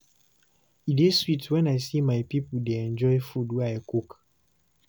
E dey sweet when I see my pipo dey enjoy food wey I cook.